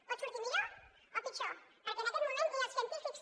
pot sortir millor o pitjor perquè en aquest moment ni els científics